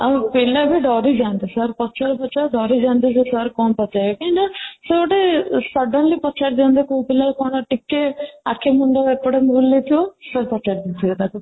ଆଉ ପିଲାବି ଡରିଯାନ୍ତି sir ପଚାରୁ ପଚାରୁ ଡରିଯାନ୍ତି ଯେ sir କ'ଣ ପଚାରିବେ କାହିଁକି ନା ସେ ଗୋଟେ suddenly ପଚାରି ଦିଅନ୍ତି କୋଉ ପିଲା କ'ଣ ଟିକେ ଆଖି ମୁଣ୍ଡ ଏପଟ ବୁଲେଇ ଥିବ sir ପଚାରି ଦିଅନ୍ତି ସେ ତାକୁ